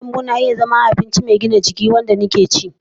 Kayan lambu na iya zama abinci mai gina jiki wanda ke da amfani gaci na.